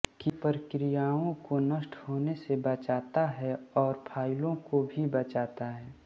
की प्रक्रियाओं को नष्ट होने से बचाता है और फ़ाइलों को भी बचाता है